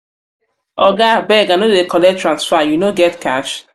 oga abeg i no dey collect transfer you no get cash?